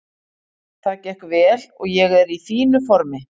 Það gekk vel og ég er í fínu formi.